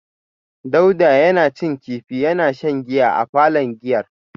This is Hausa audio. Dauda yana cin kifi yana shan giyar a palon giyar